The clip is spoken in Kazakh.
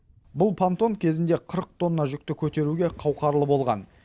бұл пантон кезінде қырық тонна жүкті көтеруге қауқарлы болған